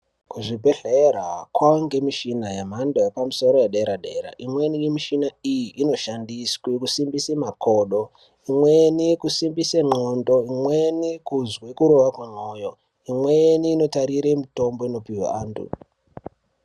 Kuzvibhehleya kwaange nemishina yemhando yepamusoro yederadera imweni yemishina iyi inoshandiswe kusimbise makodo, imweni kusimbise nxlondo, imweni kuzwe kurova kwemoyo ,imweni inotarire mutombo inopiwe eantu.